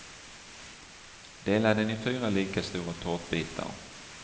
Dela den i fyra lika stora tårtbitar.